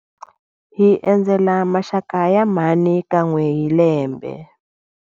Hi endzela maxaka ya mhani kan'we hi lembe.